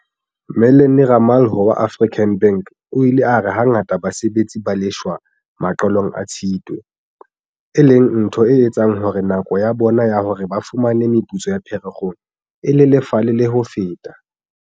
Mellony Ramalho wa African Bank o ile a re hangata basebetsi ba lefshwa maqalong a Tshitwe, e leng ntho e etsang hore nako ya bona ya hore ba fumane meputso ya Pherekgong e lelefale le ho feta.